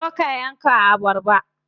Zo ka yanka abarba.